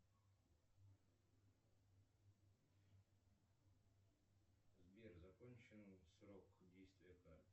сбер закончен срок действия карты